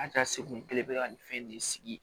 An ka segin belebeleba nin fɛn ne sigi